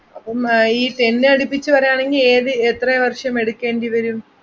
അപ്പം അഹ് ഈ ten അടുപ്പിച്ച് പറയാണെങ്കി ഏത് എത്ര വർഷം എടുക്കണ്ടി വരും.